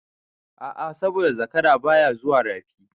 A'a saboda zakara baya zuwa Rafi.